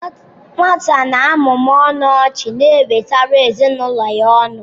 Nwata na-amụmụ ọnụ ọchị na-ewetara ezinụlọ ya ọṅụ.